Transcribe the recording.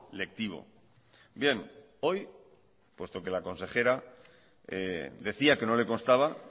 lectivo bien hoy puesto que la consejera decía que no le constaba